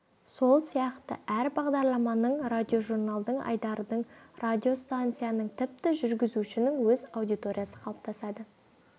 сол сияқты әр бағдарламаның радиожурналдың айдардың радиостанцияның тіпті жүргізушінің өз аудиториясы қалыптасады